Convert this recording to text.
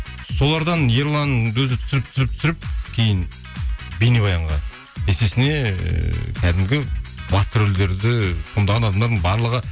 солардан ерлан өзі түсіріп түсіріп түсіріп кейін бейнебаянға есесіне ыыы кәдімгі басты рөлдерді сомдаған адамдардың барлығы